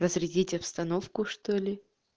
разрядить обстановку что ли